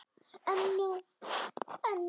Ég veit það, sagði Tóti.